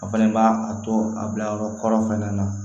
A fɛnɛ b'a a to a bila yɔrɔ kɔrɔ fɛnɛ na